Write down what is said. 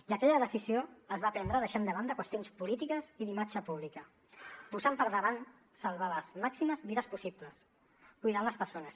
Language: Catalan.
i aquella decisió es va prendre deixant de banda qüestions polítiques i d’imatge pública posant per davant salvar les màximes vides possibles cuidant les persones